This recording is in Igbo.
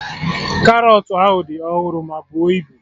Karọt ahụ dị ọhụrụ ma buo ibu